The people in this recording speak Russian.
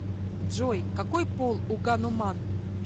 джой какой пол у гануман